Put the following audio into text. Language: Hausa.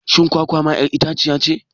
Shin kwakwa ma 'yar itaciyace.?